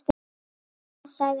Ha, hvað? sagði amma.